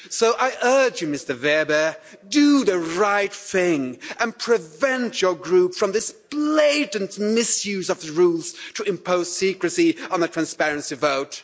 So I urge you, Mr Weber do the right thing and prevent your group from this blatant misuse of the rules in imposing secrecy on this transparency vote.